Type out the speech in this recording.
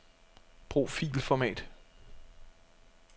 Brug filformat.